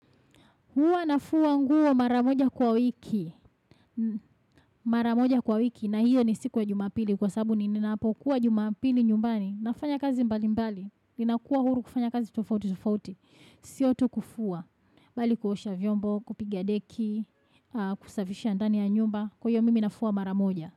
Huwa nafua nguo mara moja kwa wiki. Mara moja kwa wiki. Na hiyo ni siku ya jumapili. Kwa sababu ni ninapokuwa jumapili nyumbani. Nafanya kazi mbali mbali. Ninakuwa huru kufanya kazi tufauti tufauti. Siyo tu kufua. Bali kuosha vyombo, kupiga deki, kusavisha ndani ya nyumba. Kuyo mimi nafua mara moja.